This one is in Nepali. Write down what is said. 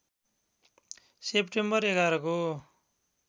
सेप्टेम्बर ११ को